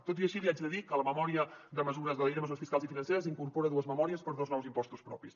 tot i així li haig de dir que la llei de mesures fiscals i financeres incorpora dues memòries per a dos nous impostos propis